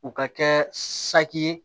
U ka kɛ saki ye